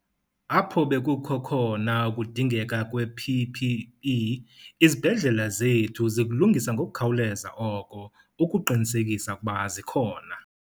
Apho bekukho khona ukudingeka kwe-PPE izibhedlela zethu zikulungisa ngokukhawuleza oko ukuqinisekisa ukuba zikhona.